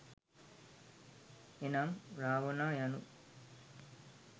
එනම්, රාවණා යනු